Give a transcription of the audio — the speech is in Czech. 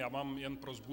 Já mám jen prosbu.